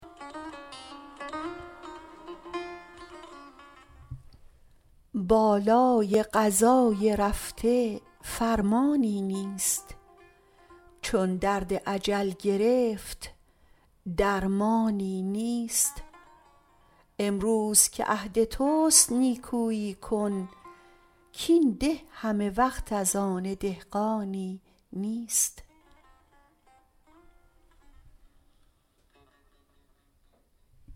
بالای قضای رفته فرمانی نیست چون درد اجل گرفت درمانی نیست امروز که عهد تست نیکویی کن کاین ده همه وقت از آن دهقانی نیست